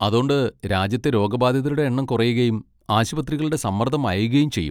അതോണ്ട് രാജ്യത്തെ രോഗബാധിതരുടെ എണ്ണം കുറയുകയും ആശുപത്രികളുടെ സമ്മർദ്ദം അയയുകയും ചെയ്യും.